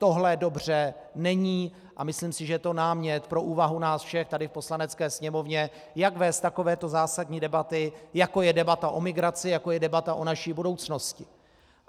Tohle dobře není a myslím si, že je to námět pro úvahu nás všech tady v Poslanecké sněmovně, jak vést takovéto zásadní debaty, jako je debata o migraci, jako je debata o naší budoucnosti.